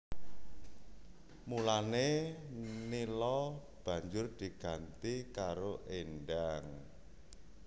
Mulané Nila banjur diganti karo Endang